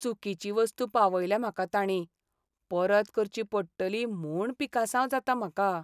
चुकीची वस्तू पावयल्या म्हाका ताणीं. परत करची पडटली म्हूण पिकासांव जाता म्हाका.